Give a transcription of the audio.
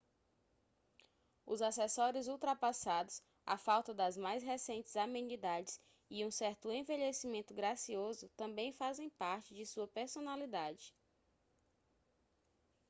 os acessórios ultrapassados a falta das mais recentes amenidades e um certo envelhecimento gracioso também fazem parte de sua personalidade